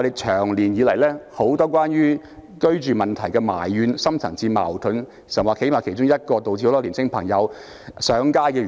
長久以來關乎居住問題的怨氣和深層次矛盾，其實是其中一個導致很多青年人上街的原因。